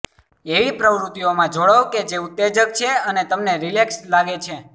એવી પ્રવૃત્તિઓમાં જોડાઓ કે જે ઉત્તેજક છે અને તમને રિલેક્સ્ડ લાગે છે